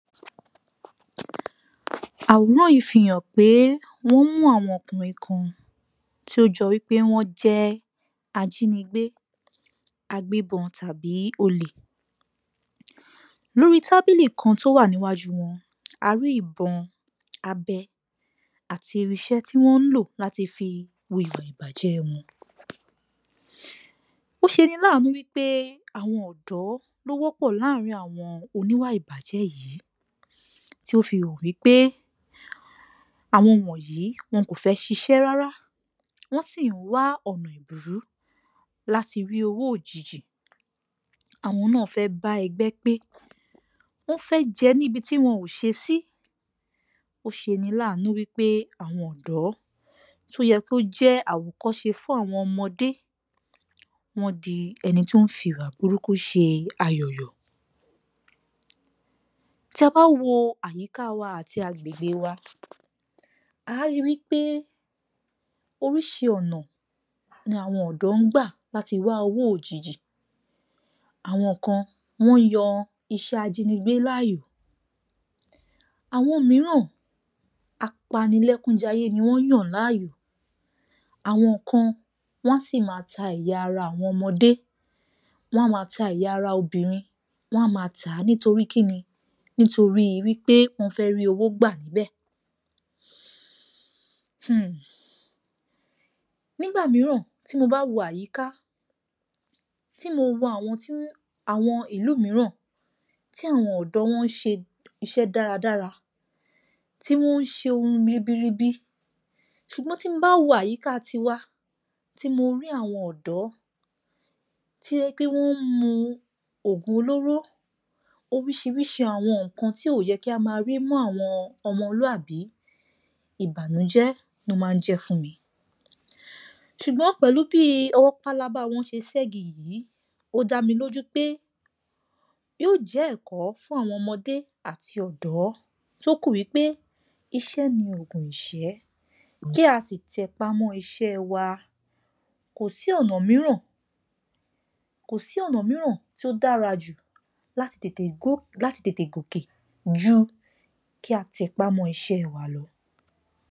Àwòrán yìí fi hàn pé wọ́n mú àwọn ọkùnrin kan tí ó jọ wípé wọ́n jẹ́ ajínigbé, agbébọn tàbí olè. Lórí tábìlì kan tó wà níwájú wón, a rí ìbọn, abẹ àti irinṣẹ́ tí wọ́n lò láti fi hùwà ìbàjẹ́ won. Ó ṣeni láànú wípé àwọn ọ̀dọ́ ló wọ́pọ̀ láàrin àwọn oníwà ìbàjẹ́ yìí, tí ó fi hàn wípé àwọn wọ̀nyí wọn kò fẹ́ ṣiṣẹ́ rárá, wọ́n sì ń wá ọ̀nà èbùrú láti rí owó òjijì, àwọn náà fẹ́ bá ẹgbẹ́ pé, wọ́n fẹ́ jẹ níbi tí wọn ò ṣe sí, ó ṣeni láànú wípé àwọn ọ̀dọ́ tó yẹ kó jẹ́ àwòkọ́ṣe fún àwọn ọmọdé, wọ́n di ẹni tó ń fi ìwà burúkú ṣe ayọ̀ yọ̀. Tí a bá wo àyíká wa àti agbègbè wa, à á ri wípé oríṣi ọ̀nà ni àwọn ọ̀dọ́ ń gbà láti wá owó òjijì, àwọn kan, wọ́n yan iṣẹ́ ajínigbé láàyò, àwọn mìíràn, apanilẹ́kun-jayé ni wọ́n yàn láàyò, àwọn kan, wọn a sì máa ta ẹ̀yà ara àwọn ọmọdé, wọ́n a máa ta ẹ̀yà ara àwọn obìnrin, wọn a máa tà á, nítorí kíni, nítorí wípé wọ́n fẹ́ rí owó gbà nbẹ̀. UM. Nígbà mìíràn tí mo bá wo àyíká, tí mo wo àwọn tí wọn, àwọn ìlú mìíràn, tí àwọn ọ̀dọ́ wọn ń ṣe iṣẹ́ dáradára, tí wọ́n ń ṣe ohun ribiribi, ṣùgbọ́n tí mo bá wo àyíká ti wa, tí mo rí àwọn ọ̀dọ́, tó jẹ́ pé wọ́n ń mu oògùn olóró, oríṣiríṣi àwọn nǹkan tí ò yẹ kí á máa rí mọ́ àwọn ọmọlúàbí, ìbànújẹ́ ló máa ń jẹ́ fún mi. Ṣùgbọ́n pèlú bí ọwọ́ pálábá wọn ṣe ségi yìí, ó dá mí lójú pé yóò jẹ́ ẹ̀kọ́ fún àwọn ọmọdé àti ọ̀dọ́ tó kú wípé iṣẹ́ ní oògùn ìṣẹ́, kí a sì tẹpá mọ́ iṣẹ́ wa, kò sí ọ̀nà mìíràn, kò sí ọ̀nà mìíràn tó dára jù láti tètè kó, láti tètè gòkè jù kí a tẹpá mọ́ iṣẹ́ wa lọ.